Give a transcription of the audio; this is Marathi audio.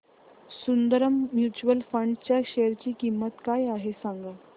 सुंदरम म्यूचुअल फंड च्या शेअर ची किंमत काय आहे सांगा